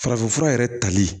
Farafinfura yɛrɛ tali